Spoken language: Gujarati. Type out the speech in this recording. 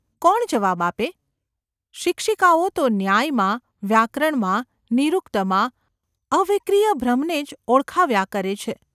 કોણ જવાબ આપે? શિક્ષિકાઓ તો ન્યાયમાં, વ્યાકરણમાં, નિરુક્તમાં અવિક્રીય બ્રહ્મને જ ઓળખાવ્યા કરે છે.